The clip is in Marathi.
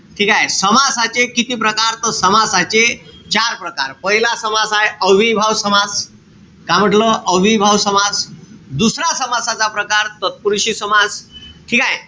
ठीकेय? समासाचे किती प्रकार त समासाचे चार प्रकार. पहिला समास आहे, अव्ययीभाव समास. का म्हंटल? अव्ययीभाव समास. दुसरा समासाचा प्रकार, तत्पुरुषी समास. ठीकेय?